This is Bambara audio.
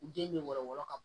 U den bɛ wɔrɔ wɔɔrɔ ka bɔ